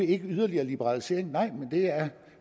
ikke vil yderligere liberalisering nej men det er